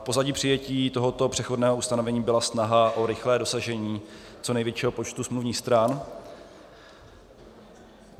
V pozadí přijetí tohoto přechodného ustanovení byla snaha o rychlé dosažení co největšího počtu smluvních stran.